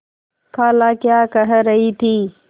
खाला क्या कह रही थी